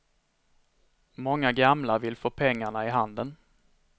Många gamla vill få pengarna i handen.